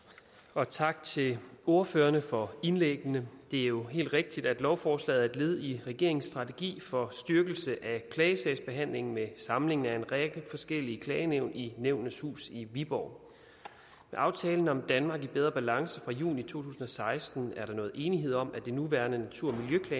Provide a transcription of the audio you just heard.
og tak til ordførerne for indlæggende det er jo helt rigtigt at lovforslaget er et led i regeringens strategi for styrkelse af klagesagsbehandlingen med samlingen af en række forskellige klagenævn i nævnenes hus i viborg med aftalen om et danmark i bedre balance fra juni to tusind og seksten er der nået enighed om at det nuværende natur